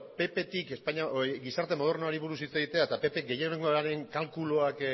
pptik gizarte modernoari buruz hitz egitea eta ppk gehiengoaren kalkulua